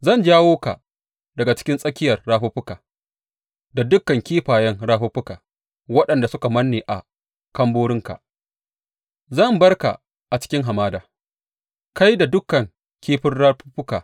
Zan jawo ka daga cikin tsakiyar rafuffukanka, da dukan kifayen rafuffukanka, waɗanda suka manne a ƙamborinka, Zan bar ka a cikin hamada, kai da dukan kifin rafuffukanka.